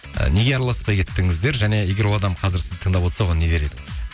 і неге араласпай кеттіңіздер және егер ол адам қазір сізді тыңдап отырса оған не дер едіңіз